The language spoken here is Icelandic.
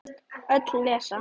Öll lesa.